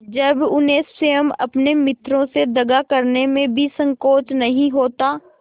जब उन्हें स्वयं अपने मित्रों से दगा करने में भी संकोच नहीं होता